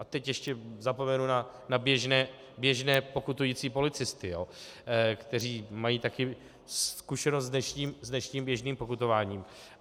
A teď ještě zapomenu na běžné pokutující policisty, kteří mají taky zkušenost s dnešním běžným pokutováním.